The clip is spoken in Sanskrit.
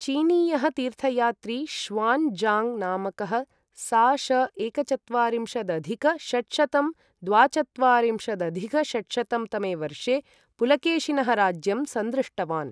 चीनीयः तीर्थयात्री ष़्वान् ज़ाङ्ग् नामकः सा.श. एकचत्वारिंशदधिक षट्शतं द्वाचत्वारिंशदधिक षट्शतं तमे वर्षे पुलकेशिनः राज्यं संदृष्टवान्।